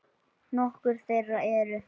Nokkur þeirra eru